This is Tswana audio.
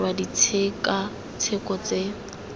gore o dirwa ditshekatsheko tse